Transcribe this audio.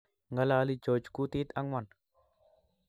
Ngalali George kutit angwan